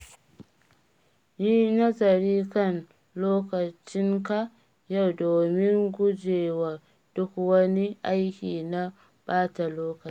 Yi nazari kan lokacinka yau domin guje wa duk wani aiki na ɓata lokaci.